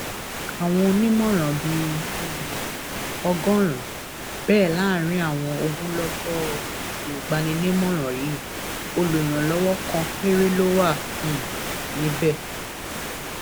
àwọn onímọràn bíi um ọgọrùnún bẹẹ láàrin àwọn ogunlọgọ olùgbaninímọràn yìí olùrànlọwọ kan péré ló wà um níbẹ